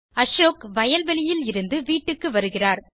அசோக் வயல்வெளியில் இருந்து வீட்டுக்கு வருகிறார்